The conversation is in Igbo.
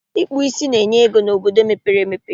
Ịkpụ ísí na-enye ego n'obodo mepere emepe